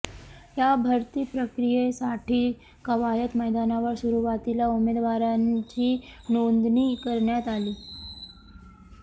या भरती प्रक्रियेसाठी कवायत मैदानावर सुरुवातीला उमेदवारांची नोंदणी करण्यात आली